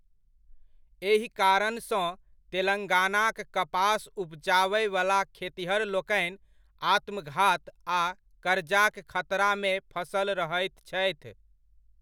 एहि कारणसँ तेलंगानाक कपास उपजाबयवला खेतिहरलोकनि आत्मघात आ करजाक खतरामे फँसल रहैत छथि।